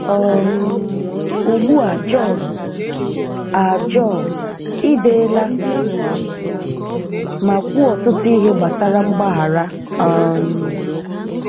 um Ugbu a Jọn, a Jọn, i deela ma kwuo ọtụtụ ihe gbasara mgbaghara. um